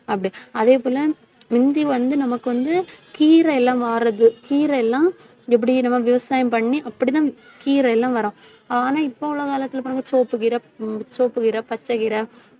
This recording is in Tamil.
அதே போல முந்தி வந்து, நமக்கு வந்து கீரை எல்லாம் கீரை எல்லாம் எப்படி நம்ம விவசாயம் பண்ணி அப்படித்தான் கீரை எல்லாம் வரும். ஆனா இப்ப உள்ள காலத்தில பாருங்க சிவப்பு கீரை சிவப்பு கீரை பச்சை கீரை